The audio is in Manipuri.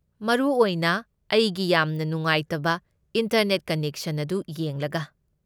ꯃꯔꯨꯑꯣꯏꯅ ꯑꯩꯒꯤ ꯌꯥꯝꯅ ꯅꯨꯡꯉꯥꯏꯇꯕ ꯏꯟꯇꯔꯅꯦꯠ ꯀꯅꯦꯛꯁꯟ ꯑꯗꯨ ꯌꯦꯡꯂꯒ꯫